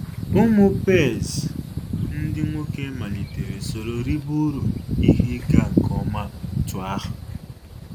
Ụmụ Páez ndị nwoke malite soro ribe ụrụ ihe ịga nke ọma otú ahụ